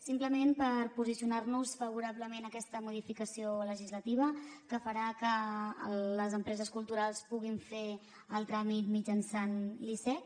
simplement per posicionar nos favorablement a aquesta modificació legislativa que farà que les empreses culturals puguin fer el tràmit mitjançant l’icec